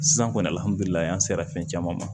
Sisan kɔni alihamidulila an sera fɛn caman ma